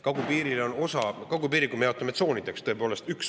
Kagupiiri me jaotame tsoonideks, tõepoolest.